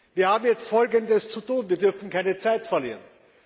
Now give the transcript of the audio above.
Wir haben jetzt einiges zu tun, wir dürfen keine Zeit verlieren.